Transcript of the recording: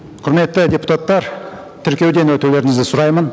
құрметті депутаттар тіркеуден өтулеріңізді сұраймын